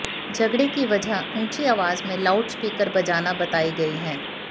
झगड़े की वजह ऊंची आवाज में लाउड स्पीकर बजाना बताई गई है